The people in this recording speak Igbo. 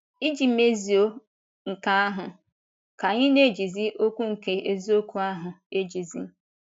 Iji mezuo nke ahụ, ka anyị na - ejizi okwu nke eziokwu ahụ ejizi. ”